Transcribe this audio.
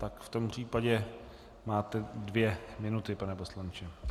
Tak v tom případě máte dvě minuty, pane poslanče.